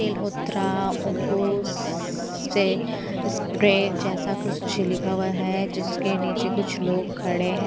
तेल होतरा ओटो से स्प्रे जैसा कुछ लिखा हुआ है जिसके नीचे कुछ लोग खड़े हैं।